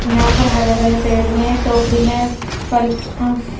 यहां पर हरे भरे पेड़ भी हैं टोकरी में फल--